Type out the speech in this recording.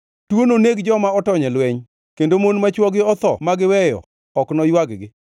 Tuo noneg joma otony e lweny, kendo mon ma chwogi otho ma giweyo ok noywag-gi.